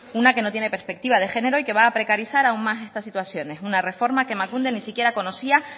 una que no tiene perspectiva de género y que va a precarizar aún más estas situaciones una reforma que emakunde ni siquiera conocía